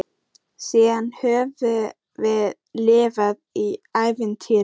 Síðan höfum við lifað í ævintýri.